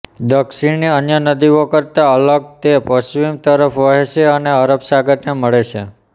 દક્ષીણની અન્ય નદીઓ કરતા અલગ તે પશ્ચિમ તરફ વહે છે અને અરબ સાગરને મળે છે